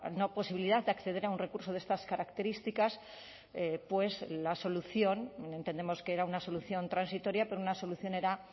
no posibilidad de acceder a un recurso de estas características pues la solución entendemos que era una solución transitoria pero una solución era